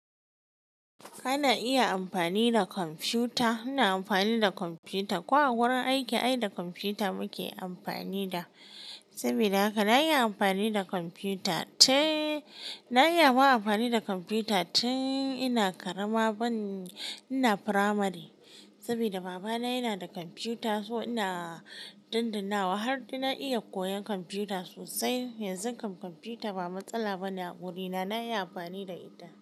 Kana iya amfani da kwamfuta? Ina amfani da kwamfuta. Ko a wurin aiki ai da kwamfuta muke amfani da. Saboda haka na iya amfani da kwamfuta. Teee, na iya ma amfani da kwamfuta tin ina karama bane, ina firamari. Saboda baba na yana da kwamfuta, so ina dandannawa har na iya koyan kwamfuta sosai. Yanzu kam kwamfuta ba matsala bane a wurina. Na iya amfani da ita.